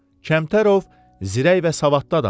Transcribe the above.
Kəmtərov zirək və savadlı adam idi.